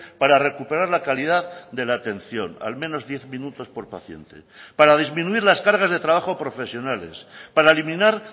para recuperar la calidad de la atención al menos diez minutos por paciente para disminuir las cargas de trabajo profesionales para eliminar